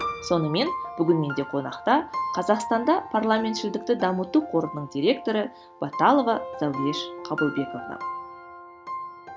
сонымен бүгін менде қонақта қазақстанда парламентшілдікті дамыту қорының директоры баталова зауреш қабылбековна